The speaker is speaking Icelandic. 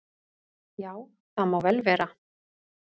"""Já, það má vel vera."""